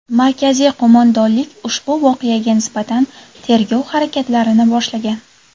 Markaziy qo‘mondonlik ushbu voqeaga nisbatan tergov harakatlarini boshlagan.